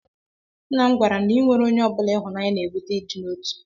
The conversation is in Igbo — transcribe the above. Nna m gwara na inweere onye ọ bụla ịhụnanya na-ebute ịdị n'otu.